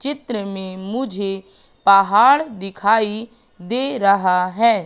चित्र में मुझे पहाड़ दिखाई दे रहा है।